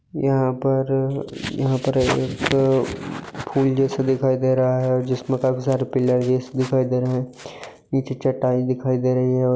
यहाँ पर यहाँ पर एकठो फूल जैसे दिखाई दे रहा है जिसमें काफी सारे पिलर जैसे दिखाई दे रहे है पीछे चटाई दिखाई दे रही है और --